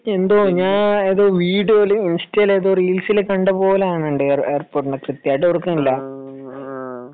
എന്തോ ഞാൻ ഏതോ വീഡിയോയിൽ ഇൻസ്റ്റയിൽ ഏതോ റീൽസിൽ കണ്ടതുപോലെ ഉണ്ട് എയർപോർട്ട് കൃത്യമായിട്ട് ഓർക്കുന്നില്ല